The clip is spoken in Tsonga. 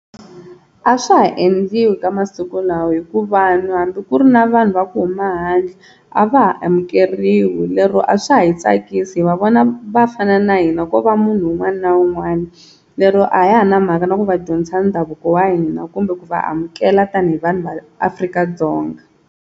A swa ha endliwi ka masiku lawa hikuva hambi ku ri na vanhu va ku huma handle a va ha amukeriwi lero a swa ha yi tsakisi hi va vona va fana na hina ko va munhu un'wana na un'wana lero a ya ha ri na mhaka na ku va dyondza ndhavuko wa hina kumbe ku va amukela tanihi vanhu va Afrika-Dzonga.